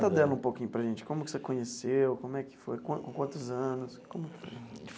Conta dela um pouquinho para a gente, como você conheceu como é que foi, quan com quantos anos como?